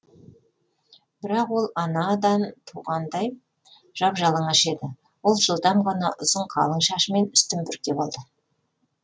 бірақ ол анадан туғандай жап жалаңаш еді ол жылдам ғана ұзын қалың шашымен үстін бүркеп алды